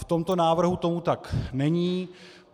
V tomto návrhu tomu tak není.